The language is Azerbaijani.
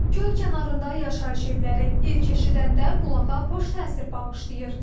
Göl kənarında yaşayış evləri ilk eşidəndə qulağa xoş təsir bağışlayır.